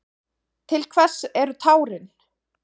Til hvers eru tárin?